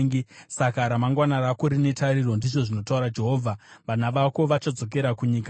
Saka ramangwana rako rine tariro,” ndizvo zvinotaura Jehovha. “Vana vako vachadzokera kunyika yavo.”